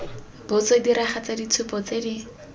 botso diragatsa ditshupo tse di